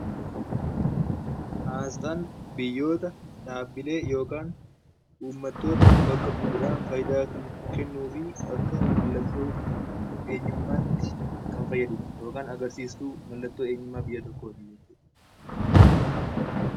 Asxaan biyyoota, dhaabbilee yookaan uummattoota bakka bu'uudhaan faayidaa kan kennuu fi akka mallattoo eenyummaatti kan fayyadudha yookaan agarsiiftuu mallattoo eenyummaa biyya tokkooti jechuudha.